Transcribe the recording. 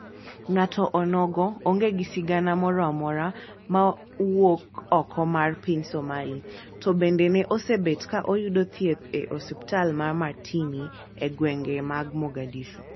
Ng'ato onogo onge gi sigana moro amora mar wuok oko mar piny Somali to bende ne osebet ka oyudo thieth e osipltal mar Martini e gwenge mag Morgadishu